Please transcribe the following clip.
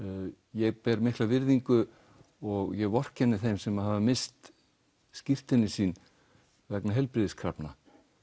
ég ber mikla virðingu og vorkenni þeim sem hafa misst skírteini sín vegna heilbrigðiskrafna